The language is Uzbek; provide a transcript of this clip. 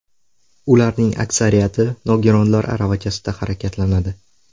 Ularning aksariyati nogironlar aravachasida harakatlanadi.